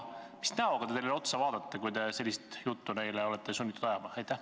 Mis näoga te neile otsa vaatate, kui olete sunnitud neile ajama sellist juttu?